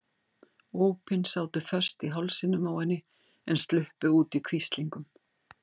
Ópin sátu föst í hálsinum á henni en sluppu út í hvíslingum.